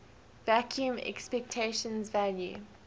vacuum expectation value